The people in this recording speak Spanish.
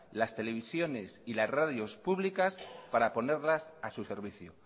las televisiones y las radios públicas para ponerlas a su servicio